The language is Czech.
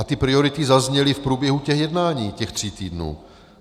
A ty priority zazněly v průběhu těch jednání těch tří týdnů.